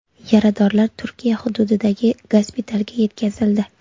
Yaradorlar Turkiya hududidagi gospitalga yetkazildi.